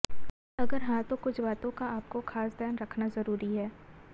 अगर हां तो कुछ बातों का आपको खास ध्यान रखना जरूरी है